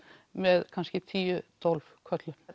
með kannski tíu til tólf körlum